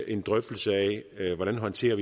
en drøftelse af hvordan vi håndterer